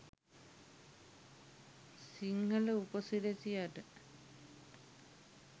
සිංහල උපසිරැසියට.